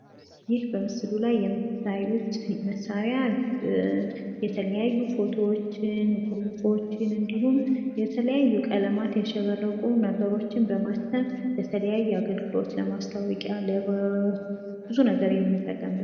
ይህ በምስሉ ላይ የምታዩት መሳሪያ የተለያዩ ፎቶዎችን እንዲሁም ጽሁፎችን እንዲሁም የተለያዩ ቀለሞችን ያሸበረቁ ነገሮችን በማተም ለተለያዩ አገልግሎት ለማስታወቂያ ለብዙ ነገር የምንጠቀምበት